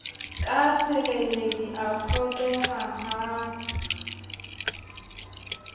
ka sereledi a phoqeha ha